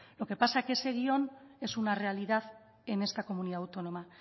lo que pasa que ese guion es una realidad en esta comunidad autónoma